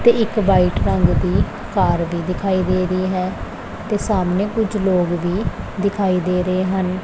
ਤੇ ਇੱਕ ਵ੍ਹਾਈਟ ਰੰਗ ਦੀ ਕਾਰ ਵੀ ਦਿਖਾਈ ਦੇ ਰਹੀ ਹੈ ਤੇ ਸਾਹਮਣੇ ਕੁੱਛ ਲੋਗ ਵੀ ਦਿਖਾਈ ਦੇ ਰਹੇ ਹਨ।